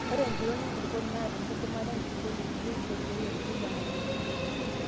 Ore empiron enkulukuoni naa enkidimata enkulukuoni peyie eisho irkiek rutuba nayieunoi.